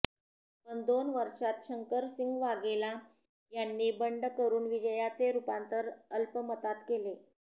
पण दोन वर्षात शंकरसिंग वाघेला यांनी बंड करून विजयाचे रूपांतर अल्पमतात केले